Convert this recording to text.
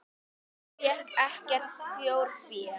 Hann fékk ekkert þjórfé.